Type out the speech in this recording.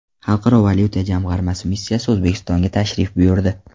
Xalqaro valyuta jamg‘armasi missiyasi O‘zbekistonga tashrif buyurdi.